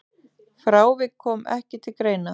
Frávik komi ekki til greina.